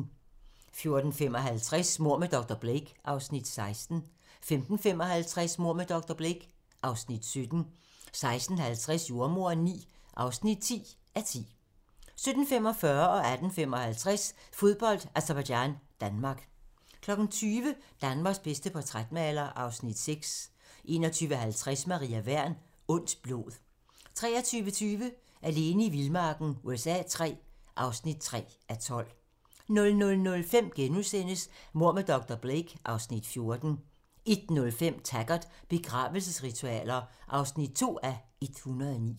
14:55: Mord med dr. Blake (Afs. 16) 15:55: Mord med dr. Blake (Afs. 17) 16:50: Jordemoderen IX (10:10) 17:45: Fodbold: Aserbajdsjan-Danmark 18:55: Fodbold: Aserbajdsjan-Danmark 20:00: Danmarks bedste portrætmaler (Afs. 6) 21:50: Maria Wern: Ondt blod 23:20: Alene i vildmarken USA III (3:12) 00:05: Mord med dr. Blake (Afs. 14)* 01:05: Taggart: Begravelsesritualer (2:109)